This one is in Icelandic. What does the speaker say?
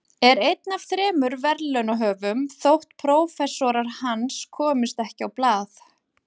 Er einn af þremur verðlaunahöfum þótt prófessorar hans komist ekki á blað.